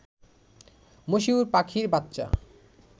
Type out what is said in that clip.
মশিউর পাখির বাচ্চা